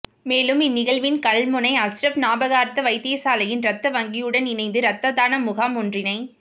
மேலும் இந்நிகழ்வின் கல்முனை அஸ்ரப் ஞாபகார்த்த வைத்தியசாலையின் இரத்த வங்கியுடன் இணைந்து இரத்ததான முகாம் ஒன்றினை